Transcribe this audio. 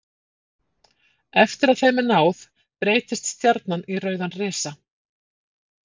Eftir að þeim er náð breytist stjarnan í rauðan risa.